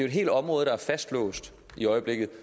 et helt område der er fastlåst i øjeblikket